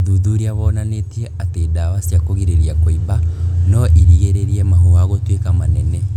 ũthuthuria wonanĩtie atĩ ndawa cia kũrigĩrĩria kũimba no irigĩrĩrie mahũha gũtuĩka manene